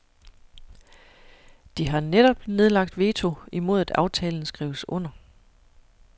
De har netop nedlagt veto imod at aftalen skrives under.